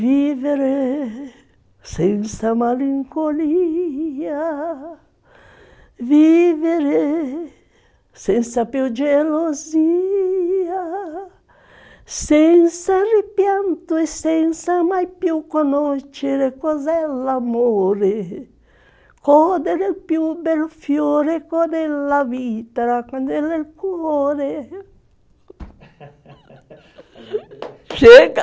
Vivere senza malinconia Vivere senza più gelosia Senza ripianto e senza mai più conoscere cos'è l'amore Codere il più bel fiore, codere la vita, codere il cuore Chega!